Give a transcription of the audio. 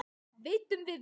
Veiddum við vel.